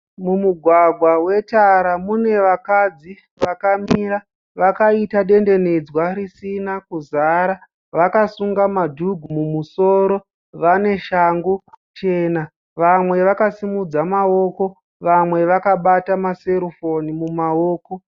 Mumugwagwa wetara mune vakadzi vakamira vakaita dendenedzwa risina kuzara. Vakasunga madhugu mumusoro. Vane shangu chena. Vamwe vakasumudza mawoko. Vamwe vakabata maserufoni mumawoko.